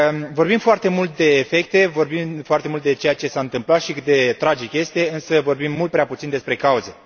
Vorbim foarte mult de efecte, vorbim foarte mult de ceea ce s a întâmplat și de cât de tragic este, însă vorbim mult prea puțin despre cauze.